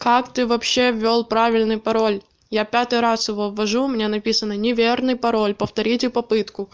как ты вообще вёл правильный пароль я пятый раз его ввожу у меня написано неверный пароль повторите попытку